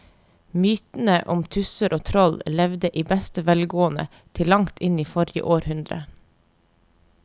Mytene om tusser og troll levde i beste velgående til langt inn i forrige århundre.